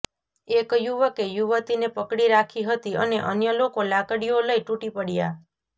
એક યુવકે યુવતીને પકડી રાખી હતી અને અન્ય લોકો લાકડીઓ લઈ તૂટી પડ્યા